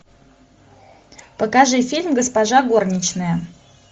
покажи фильм госпожа горничная